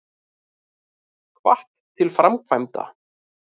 Hvatt til framkvæmda